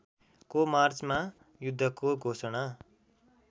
को मार्चमा युद्धको घोषणा